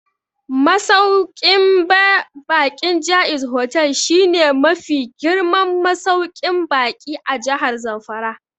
Masauƙin baƙin Jaiz Hotel shi ne mafi girman masauƙin baƙi a Jahar Zamfara